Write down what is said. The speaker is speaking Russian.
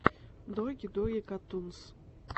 доги доги катунс